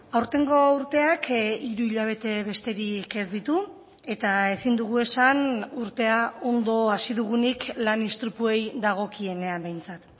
aurtengo urteak hiru hilabete besterik ez ditu eta ezin dugu esan urtea ondo hasi dugunik lan istripuei dagokienean behintzat